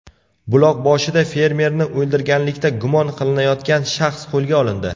Buloqboshida fermerni o‘ldirganlikda gumon qilinayotgan shaxs qo‘lga olindi.